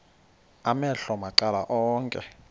amehlo macala onke